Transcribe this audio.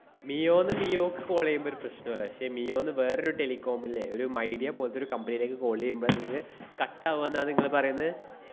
മിയോന്ന് മിയോക്ക് call എയ്യുമ്പൊരു പ്രശ്നോല്ല. ~ക്ഷേ മിയോന്ന് വേറൊരു telecom ല്ലേ? ഒരു മൈഡിയ പോല്‍ത്തൊരു company ലേക്ക് call എയ്യുമ്പോ ങ്ങക്ക് cut ആവാന്നാ നിങ്ങള് പറയുന്ന്.